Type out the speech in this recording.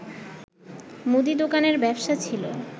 মুদি দোকানের ব্যবসা ছিল